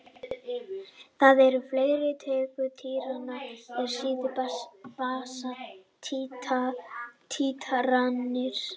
Það eru til fleiri tegundir títrana en sýru-basa títranir.